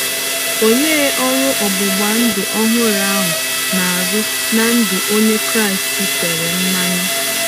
Olee ọrụ ọgbụgba ndụ ọhụrụ ahụ na-arụ ná ndụ Onye Kraịst e tere mmanụ?